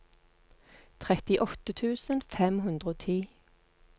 trettiåtte tusen fem hundre og ti